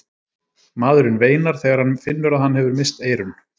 maðurinn veinar þegar hann finnur að hann hefur misst eyrun